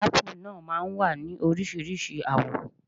Ápù náà máa wá ní Oríṣiríṣi àwọ̀.